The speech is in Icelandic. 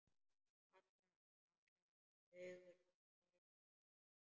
Allra augu litu til hennar.